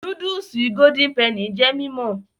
Núdúùsù golden penny jẹ́ mímọ̀